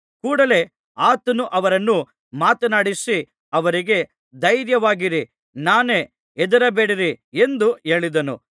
ಕೂಡಲೆ ಆತನು ಅವರನ್ನು ಮಾತನಾಡಿಸಿ ಅವರಿಗೆ ಧೈರ್ಯವಾಗಿರಿ ನಾನೇ ಹೆದರಬೇಡಿರಿ ಎಂದು ಹೇಳಿದನು